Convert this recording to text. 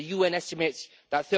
The UN estimates that